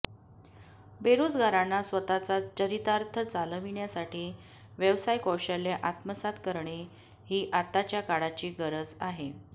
बेरोजगारांना स्वताचा चरितार्थ चालविण्यासाठी व्यवसाय कौशल्य आत्मसात करणे ही आताच्या काळाची गरज आहे